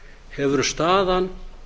hefur staðan